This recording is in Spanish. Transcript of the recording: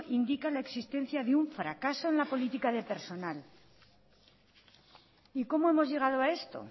indica la existencia de un fracaso en la política de persona cómo hemos llegado a esto